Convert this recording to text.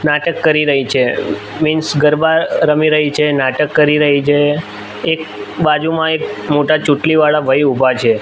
નાટક કરી રહી છે મિન્સ ગરબા રમી રહી છે નાટક કરી રહી છે એક બાજુમાં એક મોટા ચોટલી વાળા ભઈ ઉભા છે.